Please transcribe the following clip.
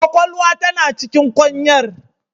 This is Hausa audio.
Kwakwalwa tana cikin kwanyar.